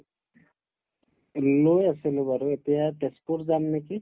লৈ আছিলো বাৰু এতিয়া তেজপুৰ যাম নেকি